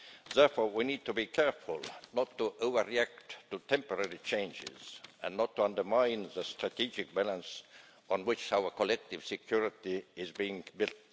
Therefore, we need to be careful not to overreact to temporary changes and not undermine the strategic balance on which our collective security is being built.